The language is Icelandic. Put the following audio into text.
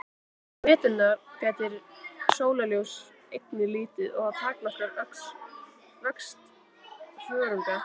Á veturna gætir sólarljóss einnig lítið og það takmarkar vöxt þörunga.